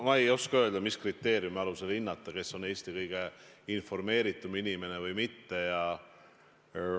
Ma ei oska nüüd öelda, mis kriteeriumi alusel hinnata, kes on Eesti kõige informeeritum inimene või kes ei ole.